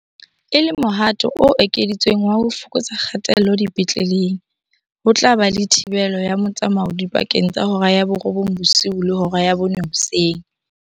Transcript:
E le mohato o ekeditsweng wa ho fokotsa kgatello dipetleleng, ho tla ba le thibelo ya motsamao dipakeng tsa hora ya borobong bosiu le hora ya bone hoseng.